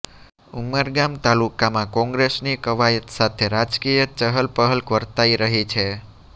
ઉમરગામ તાલુકામાં કોંગ્રેસની કવાયત સાથે રાજકીય ચહલપહલ વર્તાઈ રહી છે